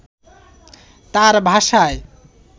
তাঁর ভাষায়